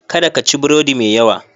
Kada ka ci burodi mai yawa.